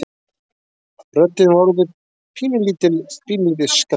Röddin var orðin pínulítið skræk.